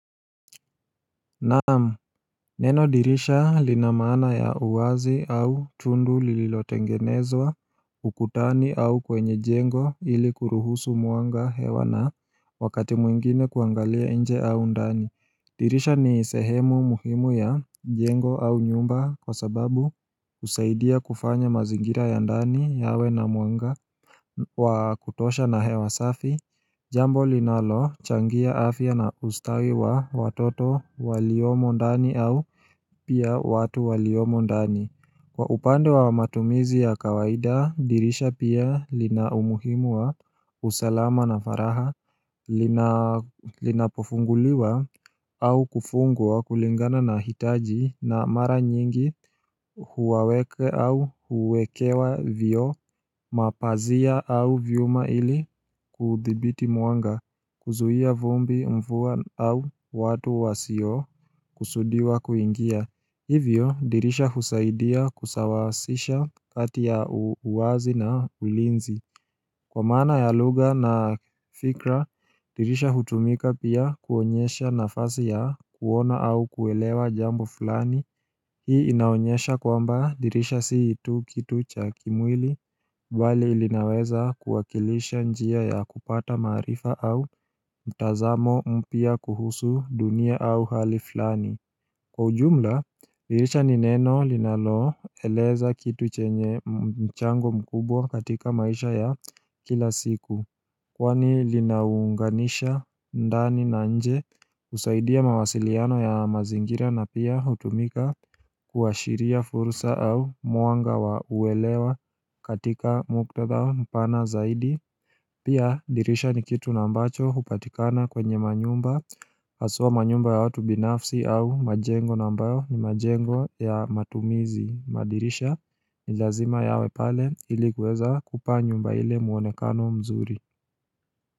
Naamu, neno dirisha linamana ya uwazi au tundu lililotengenezwa ukutani au kwenye jengo ili kuruhusu mwanga hewa na wakati mwingine kuangalia nje au ndani dirisha ni sehemu muhimu ya jengo au nyumba kwa sababu husaidia kufanya mazingira ya ndani yawe na muanga wa kutosha na hewa safi Jambo linalo changia afya na ustawi wa watoto waliomo ndani au pia watu waliomo ndani Kwa upande wa matumizi ya kawaida dirisha pia linaumuhimu wa usalama na faraha Linapofunguliwa au kufungwa kulingana na hitaji na mara nyingi huwaweke au huwekewa vioo Mapazia au vyuma ili kuthibiti mwanga kuzuhia vumbi mvua au watu wasio kusudiwa kuingia Hivyo dirisha husaidia kusawasisha kati ya uwazi na ulinzi Kwa maana ya lugha na fikra dirisha hutumika pia kuonyesha nafasi ya kuona au kuelewa jambo fulani Hii inaonyesha kwamba dirisha si tu kitu cha kimwili Bali linaweza kuwakilisha njia ya kupata marifa au mtazamo mpya kuhusu dunia au hali flani Kwa ujumla, dirisha ni neno linalo eleza kitu chenye mchango mkubwa katika maisha ya kila siku Kwani linaunganisha ndani na nje usaidia mawasiliano ya mazingira na pia hutumika Kuwashiria fursa au mwanga wa uwelewa katika muktadha mpana zaidi Pia dirisha ni kitu na ambacho hupatikana kwenye manyumba Haswa manyumba ya watu binafsi au majengo na ambayo ni majengo ya matumizi madirisha ni lazima yawe pale ili kuweza kupaa nyumba ile mwonekano mzuri.